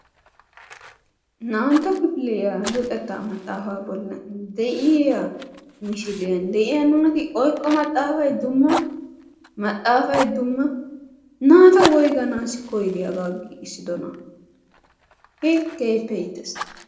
Naa''antto kifiliyaa luxetta maxaafa bollan de'iyaa misiliyaan naati oyqqo maxaafay dumma maxaafay dumma naata woygganassi koyddi hagaa giigissidona! hi! keehippe iitees.